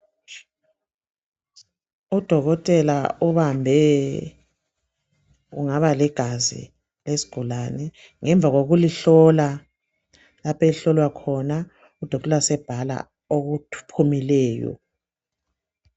Udokotela ubambe kungaba ligazi lesigulane ngemva kokulihlola lapho elihlolwa khona udokotela sebhala okuphumileyo.